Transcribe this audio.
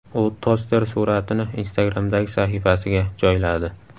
U toster suratini Instagram’dagi sahifasiga joyladi .